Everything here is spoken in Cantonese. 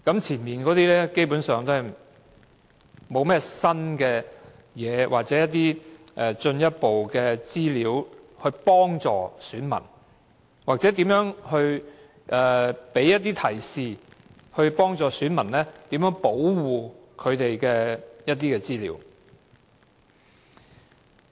"前面的內容基本上沒有提供新或進一步資料，或給予提示，以幫助選民保護他們的資料。